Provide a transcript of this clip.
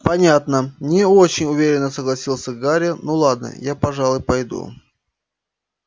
понятно не очень уверенно согласился гарри ну ладно я пожалуй пойду